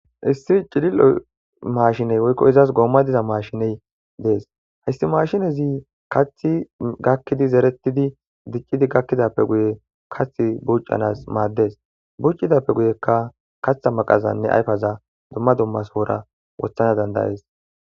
Issi iccidil'o mashiney woykko izas goomma diza mashiney dees hayssi mashinezi kathi gakkidi zeretidi diccidi gakkidappe guye kath buuccanas maaddes buccidappe guyekka katha maqazanne ayfaza dumma dummasoora wothana dandayees.